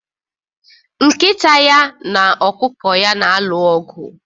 Nkita ya na ọkụkọ ya na-alụ ọgụ